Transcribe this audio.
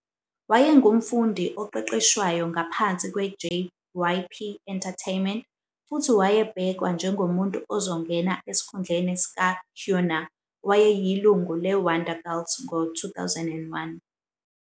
Wayengumfundi oqeqeshwayo ngaphansi kwe- JYP Entertainment futhi wayebhekwa njengomuntu ozongena esikhundleni sikaHyuna, owayeyilungu le- Wonder Girls ngo-2001.